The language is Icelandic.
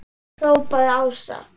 hrópaði Ása.